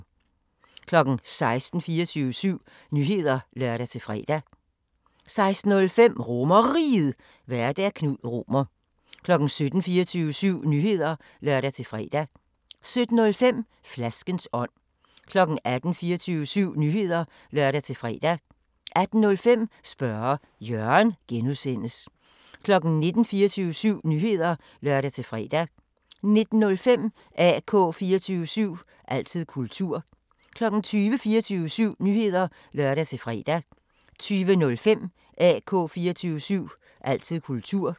16:00: 24syv Nyheder (lør-fre) 16:05: RomerRiget, Vært: Knud Romer 17:00: 24syv Nyheder (lør-fre) 17:05: Flaskens ånd 18:00: 24syv Nyheder (lør-fre) 18:05: Spørge Jørgen (G) 19:00: 24syv Nyheder (lør-fre) 19:05: AK 24syv – altid kultur 20:00: 24syv Nyheder (lør-fre) 20:05: AK 24syv – altid kultur